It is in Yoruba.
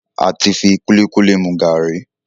àti fí kulikuli mú garri.